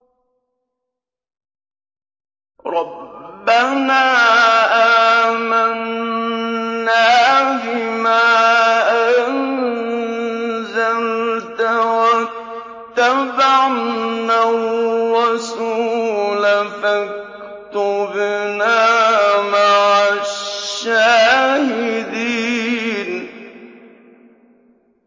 رَبَّنَا آمَنَّا بِمَا أَنزَلْتَ وَاتَّبَعْنَا الرَّسُولَ فَاكْتُبْنَا مَعَ الشَّاهِدِينَ